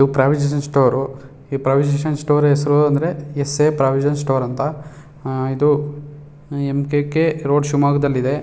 ಎದು provision store provisional store ಹೆಸರು ಅಂದ್ರೆ ಎಸ್ ಎ ಪ್ರೋವಿಸೊನಾಲ್ ಸ್ಟೋರ್ ಅಂತ. ಮ್ ಕೆ ಕೆ ರೋಡ್ ಶಿವಮೊಗ್ಗದಲ್ಲಿದೆ .